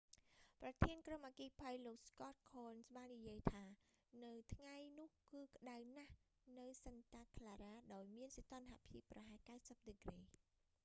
ប្រធានក្រុមអគ្គិភ័យលោក scott kouns បាននិយាយថា ថ្ងៃនោះគឺក្តៅណាស់នៅ santa clara ដោយមានសីតុណ្ហភាពប្រហែល 90 ដឺក្រេ